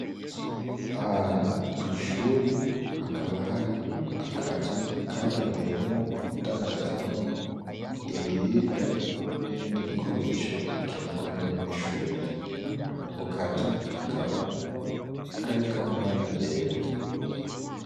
Ahantu kw'ishure hakaba hari akazu kagenewemwo kundandazwamwo ibiribwa n'ibindi bikoresho bikenerwa n'abanyeshure, ako kazu kakaba kariko amabara yera.